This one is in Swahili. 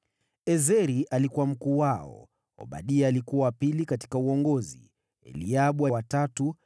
Ezeri alikuwa mkuu wao, Obadia alikuwa wa pili katika uongozi, Eliabu wa tatu,